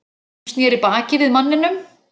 Hún sneri baki við manninum.